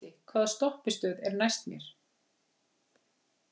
Gísli, hvaða stoppistöð er næst mér?